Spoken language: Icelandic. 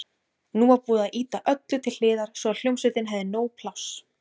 Nú var búið að ýta öllu til hliðar svo að hljómsveitin hefði nóg pláss.